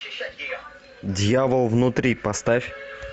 дьявол внутри поставь